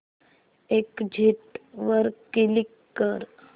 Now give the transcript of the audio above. exit वर click कर